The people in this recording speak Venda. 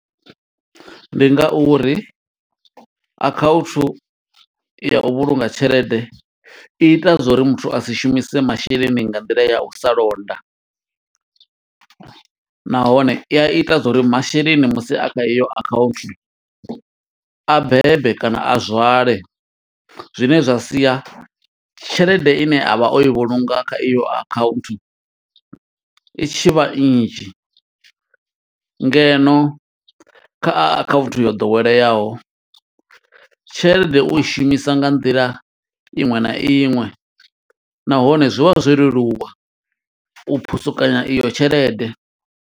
Ndi nga uri akhaunthu ya u vhulunga tshelede i ita zwa uri muthu a si shumise masheleni nga nḓila ya u sa londa. Nahone i a ita zwa uri masheleni, musi a kha heyo account, a bebe kana a zwale. Zwine zwa sia tshelede ine a vha o i vhulunga kha iyo account, i tshi vha nnzhi. Ngeno kha akhaunthu yo ḓoweleaho, tshelede u i shumisa nga nḓila iṅwe na iṅwe, nahone zwi vha zwo leluwa u phusukanya iyo tshelede.